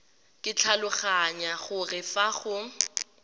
ke tlhaloganya gore fa go